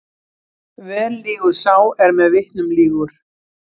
Vel lýgur sá er með vitnum lýgur.